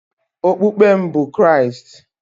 Okpukpe m bụ Kraịst